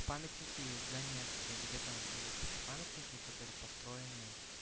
памятники в донецке где там есть такие памятники которые построены